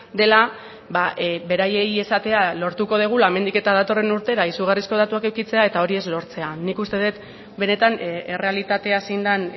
dela beraiei esatea lortuko dugula hemendik eta datorren urtera izugarrizko datuak edukitzea eta hori ez lortzea nik uste dut benetan errealitatea zein den